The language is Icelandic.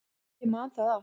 Ég man það allt.